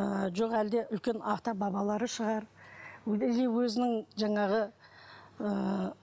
ыыы жоқ әлде үлкен ата бабалары шығар или өзінің жаңағы ыыы